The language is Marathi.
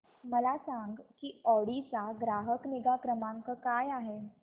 मला सांग की ऑडी चा ग्राहक निगा क्रमांक काय आहे